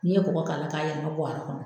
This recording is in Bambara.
N'i ye kɔgɔ k'a la k'a yɛlɛma buwari kɔnɔ.